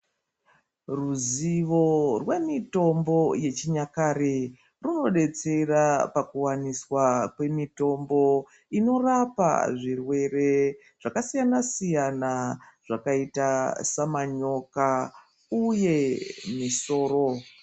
Ruzivo rwemitombo yechinyakare rwunodetsera pakuwaniswa kwemitombo inorapa zvirwere zvakasiyana -siyana zvakaita samanyoka uye misoro.